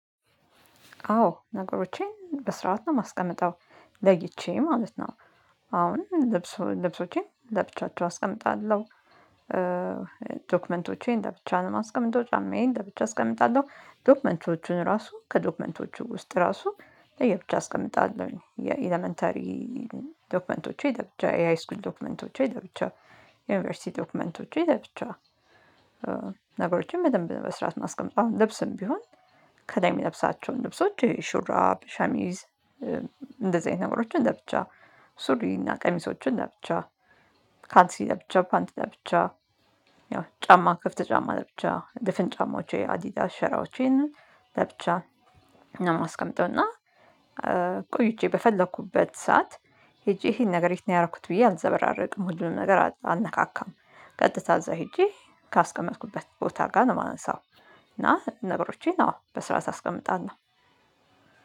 አዎ ነገሮቼን በስርዓት ነው ማስቀመጥ አይቼ ማለት ነው። አሁን ልብሶቼን ለብቻቸው አስቀምጣለሁ ዶክመንቶቼን ለብቻ ማስቀመጠው ጫማዬን ለብቻ አስቀምጣለሁ ዶክመንቶቹን ራሱ ከዶክመንቶቹ ውስጥ ራሱ ለየብቻ አስቀምጣለሁ። የኢለመንተሪ ዶክመንቶች ለብቻ የሃይስኩል ዶክመንቶች ለብቻ የዩኒቨርሲቲ ዶክመንቶች ለብቻ። ነገሮችን በደንብ በስራት ማስቀመጥ አሁን ልብስም ቢሆን ከላይ ምለብሳቸውን ልብሶች ሹራፕ ሸሚዝ እንደዚህ አይነት ነገሮችን ለብቻ ሱሪና ቀሚሶችን ለብቻ ካልሲ ለብቻ ፓንት ለብቻ ያው ጫማ ክፍት ጫማ ለብቻ ድፍን ጫማዎቼ አዲዳስ ሸራዎቼን ለብቻ ነው። የማስቀምጠው እና ቆይቼ በፈለኩበት ሰዓት ሄጄ ይሄን ነገር ያረኩት ብዬ አልዘበራረቅም ሁሉንም ነገር አነካካም። ቀጥታ እዛ ሄጄ ካስቀመጥኩበት ቦታ ጋር ነው የማንሳው። እና ነገሮቼን አዎ በስራ ታስቀምጣለህ?